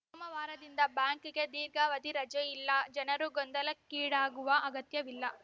ಸೋಮವಾರದಿಂದ ಬ್ಯಾಂಕ್‌ಗೆ ದೀರ್ಘಾವಧಿ ರಜೆ ಇಲ್ಲ ಜನರು ಗೊಂದಲಕ್ಕೀಡಾಗುವ ಅಗತ್ಯವಿಲ್ಲ